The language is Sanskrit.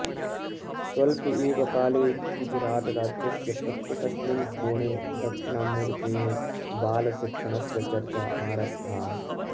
स्वल्पे एव काले गुजरातराज्यस्य प्रत्येकस्मिन् कोणे दक्षिणामूर्तेः बालशिक्षणस्य चर्चा आरब्धा